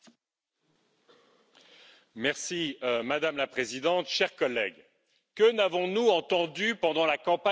Madame la Présidente, chers collègues, que n'avons nous pas entendu pendant la campagne électorale des européennes, partout en Europe?